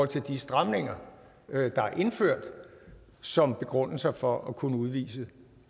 til de stramninger der er indført som begrundelser for at kunne udvise